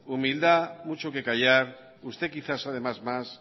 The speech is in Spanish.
humildad mucho que callar sted quizás además más